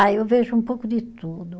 Ah eu vejo um pouco de tudo.